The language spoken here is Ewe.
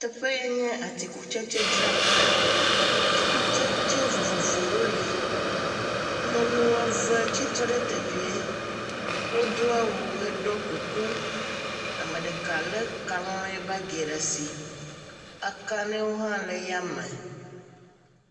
Teƒe yɛ nye atikutsetsedzraƒe. Atikutsetse vovovowo li. Nyɔnu eve tsi tre ɖe teƒeɛ. Wodo awu heɖɔ kuku. Ame ɖeka lɛ kalẽɛ baagi ɖe asi. Ekalẽwo hã le yame.